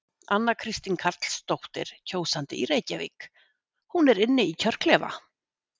Anna Kristín Karlsdóttir, kjósandi í Reykjavík: Hún er inn í kjörklefa?